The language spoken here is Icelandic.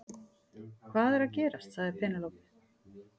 Hvað er að gerast sagði Penélope.